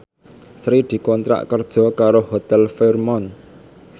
Sri dikontrak kerja karo Hotel Fairmont